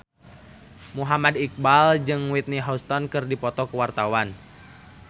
Muhammad Iqbal jeung Whitney Houston keur dipoto ku wartawan